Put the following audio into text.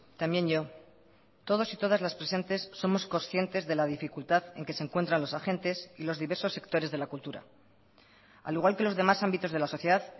también yo todos y todas las presentes somos conscientes de la dificultad en que se encuentran los agentes y los diversos sectores de la cultura al igual que los demás ámbitos de la sociedad